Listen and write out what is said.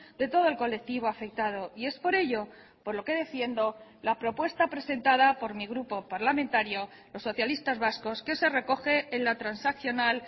de todo el colectivo afectado y es por ello por lo que defiendo la propuesta presentada por mi grupo parlamentario los socialistas vascos que se recoge en la transaccional